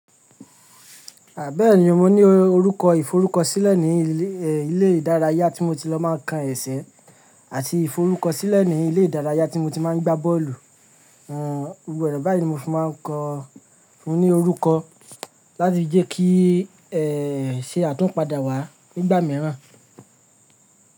Bẹ̀eni mo ní orúkọ ìforúkọsílẹ̀ ní ilé ìdárayá tí mo ti lọ máa ń kán ẹsẹ̀ àti ìforúkọsílẹ̀ ní ilé ìdárayá tí mo ti máa ń gbá bọ́ọ̀lù. Gbogbo ọ̀nà báyìí ni mo fi máa ń kọ́. Mo ní orúkọ láti jé kí ṣe àtúnpadà wá nígbà mìíràn.